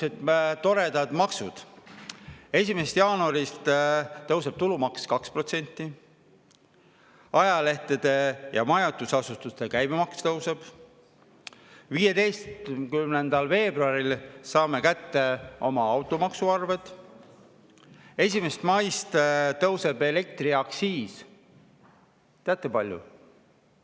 Sihukesed toredad maksud: 1. jaanuaril tõuseb tulumaks 2%; ajalehtede ja majutusasutuste käibemaks tõuseb; 15. veebruaril saame kätte automaksuarve; 1. mail tõuseb elektriaktsiis – teate, kui palju?